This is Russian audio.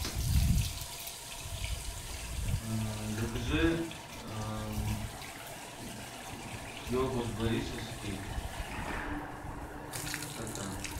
закажи йогурт борисовский стакан